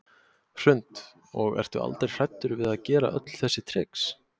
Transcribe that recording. Hrund: Og ertu aldrei hræddur að vera gera öll þessi trix?